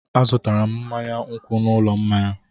Azụtara m mmanya nkwụ n'ụlọ mmanya.